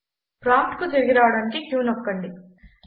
ప్రాంప్ట్కు తిరిగి రావడానికి q నొక్కండి